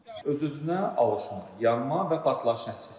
Öz-özünə alışma, yanma və partlayış nəticəsində.